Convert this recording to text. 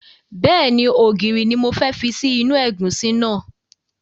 Bẹ́ẹ̀ni, ògìrì ni mo fẹ́ fi sí inú ẹ̀gúsí náà